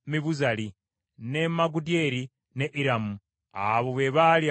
ne Magudyeri, ne Iramu. Abo be baali abakungu ba Edomu.